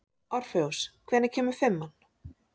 Orfeus, hvenær kemur fimman?